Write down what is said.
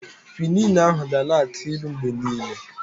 Kwinin ahụ ga na-aki ilu mgbe niile.